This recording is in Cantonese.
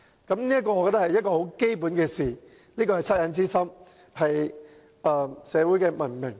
我覺得這是很基本的事，是惻隱之心，是文明社會的做法。